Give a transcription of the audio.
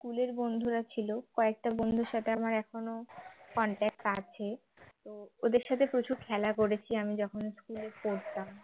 school এর বন্ধুরা ছিল কয়েকটা বন্ধুর সাথে আমার এখনো contact আছে তো ওদের সাথে প্রচুর খেলা করেছি আমি যখন school এ পড়তাম